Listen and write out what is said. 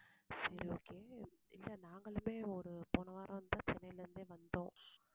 சரி okay இல்லை நாங்களுமே ஒரு போன வாரம்தான் சென்னையில இருந்தே வந்தோம்.